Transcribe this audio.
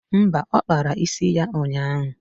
Mba, ọ kpara isi ya ụnyaahụ